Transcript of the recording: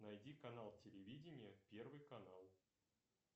найди канал телевидения первый канал